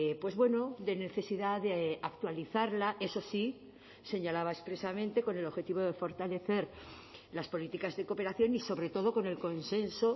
pues bueno de necesidad de actualizarla eso sí señalaba expresamente con el objetivo de fortalecer las políticas de cooperación y sobre todo con el consenso